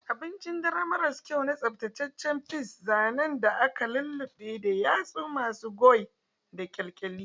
Abincin dare maras kyau na tsaftataccen peas, zanen da aka lulluɓe da yatsu masu goey da kyalkyali.